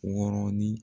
Wɔɔrɔnin